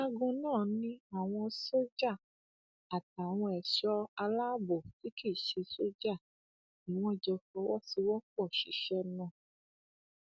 ọgágun náà ni àwọn sójà àtàwọn ẹṣọ aláàbọ tí kì í ṣe sójà ni wọn jọ fọwọsowọpọ ṣiṣẹ náà